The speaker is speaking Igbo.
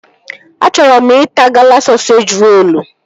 Achọrọ m ịta Gala sọseji rolu